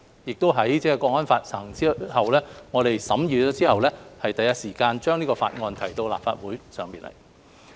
在《香港國安法》實施後，我們第一時候把這項《條例草案》提交立法會審議。